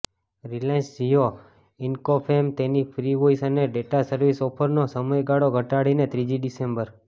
Reliance Jio ઇન્ફોકોમે તેની free voice અને ડેટા સર્વિસ ઓફરનો સમયગાળો ઘટાડીને ત્રીજી ડિસેમ્બર